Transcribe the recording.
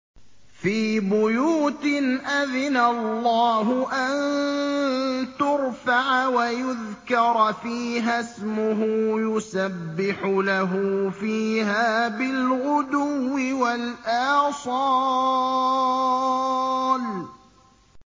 فِي بُيُوتٍ أَذِنَ اللَّهُ أَن تُرْفَعَ وَيُذْكَرَ فِيهَا اسْمُهُ يُسَبِّحُ لَهُ فِيهَا بِالْغُدُوِّ وَالْآصَالِ